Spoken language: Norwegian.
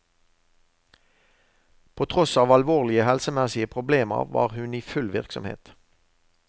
På tross av alvorlige helsemessige problemer var hun i full virksomhet.